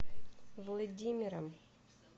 владимиром